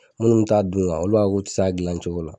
Minnu t'a dun olu b'a fɔ k'u tɛ s'a gilan cogo la.